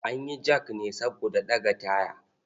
An yi jak ne saboda ɗaga taya.